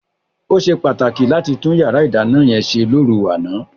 Ó ṣe pàtàkì láti tún yàrá ìdáná yẹn ṣe lóru àná.